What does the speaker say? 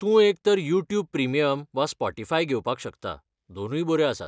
तूं एकतर YouTube premium वा स्पॉटीफाय घेवपाक शकता, दोनूय बऱ्यो आसात.